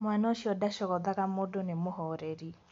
Mwana ũcio ndacogothaga mũndũ nĩ mũhoreri.